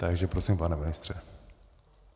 Takže prosím, pane ministře.